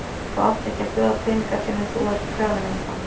Þú átt ekki að bjóða peninga fyrr en þú ert krafinn um þá.